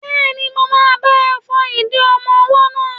Bẹ́ẹ̀ni, mo máa bá ọ fọ ìdí ọmọ-ọwọ́ náà